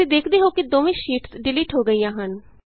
ਤੁਸੀਂ ਦੇਖਦੇ ਹੋ ਕਿ ਦੋਵੇਂ ਸ਼ੀਟਸ ਡਿਲੀਟ ਹੋ ਗਈਆਂ ਹਨ